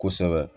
Kosɛbɛ